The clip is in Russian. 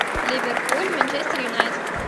ливерпуль манчестер юнайтед